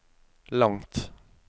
langt